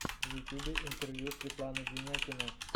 в ютьюбе интервью светлана денякина